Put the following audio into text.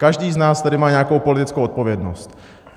Každý z nás tady má nějakou politickou odpovědnost.